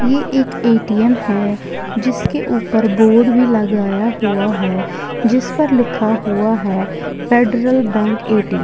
ये एक ए_टी_एम है जिसके ऊपर बोर्ड भी लगाया हुआ है जिस पर लिखा हुआ है फेडरल बैंक ए_टी_एम ।